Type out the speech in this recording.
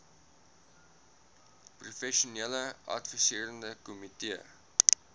professionele adviserende komitee